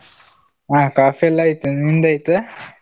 ಹಾ ಕಾಫೀ ಎಲ್ಲ ಆಯ್ತು, ನಿಂದು ಆಯ್ತಾ?